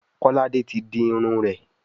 Kolade tí dì Irun rẹ.